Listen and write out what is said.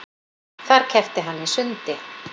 Þar keppti hann í sundi